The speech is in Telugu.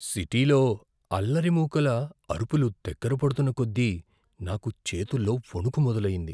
సిటీలో అల్లరి మూకల అరుపులు దగ్గర పడుతున్నకొద్దీ నాకు చేతుల్లో వణుకు మొదలయింది.